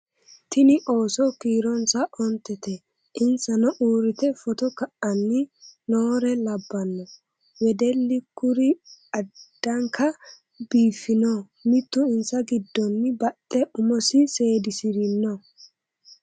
Tinni ooso kiironsa ontette insanno uuritte footto ka'anni noore labbanno wedelli kunni addankka biiffinno mittu insa giddonni baxxe umosi seedisirinno